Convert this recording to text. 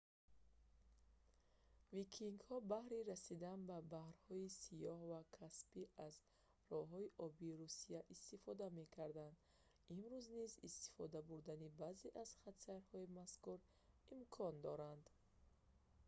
викингҳо баҳри расидан ба баҳрҳои сиёҳ ва каспий аз роҳҳои обии русия истифода мекарданд имрӯз низ истифода бурдани баъзе аз хатсайрҳои мазкур имкон дорад